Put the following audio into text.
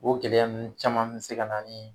O gɛlɛya nunnu caman be se ka na ni